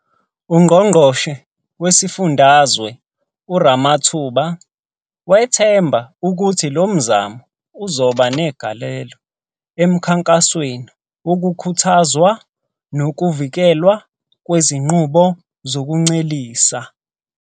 UNgqongqoshe Wesifundazwe uRamathuba wethemba ukuthi lo mzamo uzoba negalelo emkhankasweni wokukhuthazwa nokuvikelwa kwezinqubo zokuncelisa